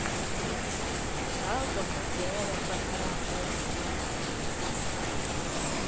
zwa konadzea vha fanela u